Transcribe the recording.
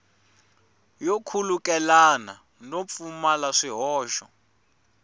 yo khulukelana no pfumala swihoxo